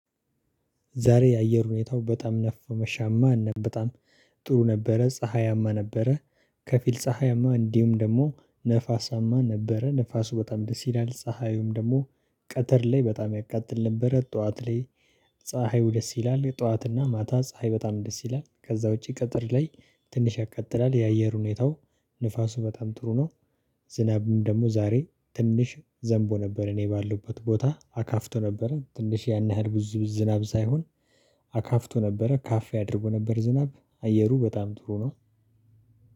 ዛሬ የአየር ሁኔታው በጣም ነፋሻማ እና በጣም ጥሩ ነበረ ፀሀያማ ነበረ ከፊል ፀሀያማ እንዲሁም ደግሞ ነፋሳማ ነበረ ነፋሱ በጣም ደስ ይላል፤ ፀሀዩም ደግሞ ቀተር ላይ በጣም ያቃጥል ነበረ ጠዋት ላይ ፀሀዩ ደስ ይላል ጠዋትና ማታ ፀሀይ በጣም ደስ ይላል ከዛ ውጪ ቀጥር ላይ ትንሽ ያቀጥላል የአየር ሁኔታው ንፋሱ በጣም ጥሩ ነው ዝናብም ደግሞ ዛሬ ትንሽ ዘንቦ ነበር እኔ ባለውበት ቦታ፤ አካፍቶ ነበረ ትንሽ ያን ያህል ብዙ ዝናብ ሳይሆን አካፍቶ ነበረ ካፍያ አድርጎ ነበር ዝናብ። አየሩ በጣም ጥሩ ነው